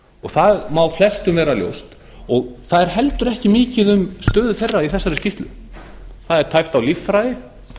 og það má flestum vera ljóst og það er heldur ekki mikið um stöðu þeirra í þessari skýrslu það er tæpt á líffræði